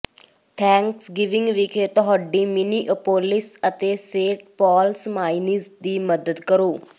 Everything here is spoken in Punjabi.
ਥੈਂਕਸਗਿਵਿੰਗ ਵਿਖੇ ਤੁਹਾਡੀ ਮਿਨੀਐਪੋਲਿਸ ਅਤੇ ਸੇਂਟ ਪੌਲ ਸਮਾਈਨੀਜ਼ ਦੀ ਮਦਦ ਕਰੋ